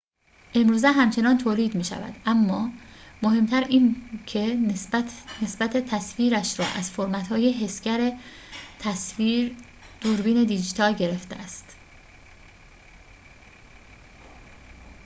امروزه همچنان تولید می‌شود اما مهم‌تر این که نسبت تصویرش را از فرمت‌های حسگر تصویر دوربین دیجیتال گرفته است